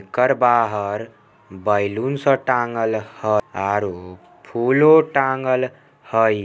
कर बाहर बैलून स टाँगल हई आरू फूलो टाँगल हई।